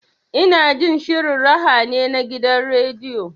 Ina jin shirin raha ne na gidan rediyo.